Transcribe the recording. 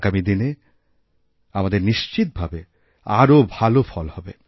আগামী দিনে আমাদের নিশ্চিতভাবে আরও ভাল ফল হবে